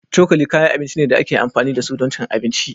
Cokali kayan abinci ne da ake amfani da su don cin abinci